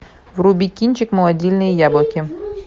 вруби кинчик молодильные яблоки